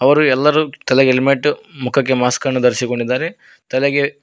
ಅವರು ಎಲ್ಲರೂ ತಲೆಗೇ ಹೆಲ್ಮೆಟ್ ಮುಖಕ್ಕೆ ಮಾಸ್ಕ್ ಅನ್ನು ಧರಿಸಿಕೊಂಡಿದಾರೆ ತಲೆಗೆ--